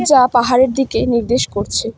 যা পাহাড়ের দিকে নির্দেশ করছে।